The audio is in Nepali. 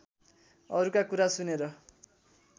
अरूका कुरा सुनेर